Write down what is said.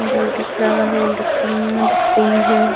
View दिख रहा है। लकड़िया दिख रही है।